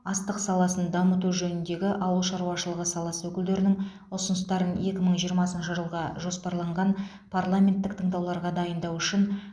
астық саласын дамыту жөніндегі ауыл шаруашылығы саласы өкілдерінің ұсыныстарын екі мың жиырмасыншы жылға жоспарланған парламенттік тыңдауларға дайындау үшін